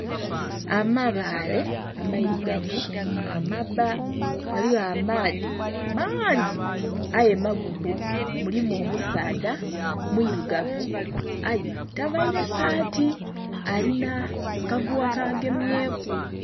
Amabaale amairugavu amabba ghaligho amaadhi mangi aye magubbu. Mulimu omusaadha mwiirugavu aye tavaire saati alina akaguwa kagemye ku.